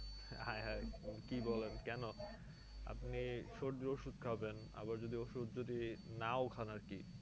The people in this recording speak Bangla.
হায় হায় কি বলেন কেন আপনি সর্দির ওষুধ খাবেন আবার যদি ওষুধ যদি নাও খান আর কি